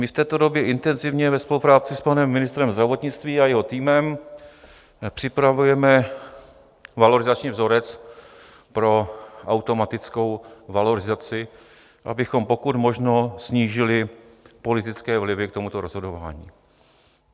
My v této době intenzivně ve spolupráci s panem ministrem zdravotnictví a jeho týmem připravujeme valorizační vzorec pro automatickou valorizaci, abychom pokud možno snížili politické vlivy k tomuto rozhodování.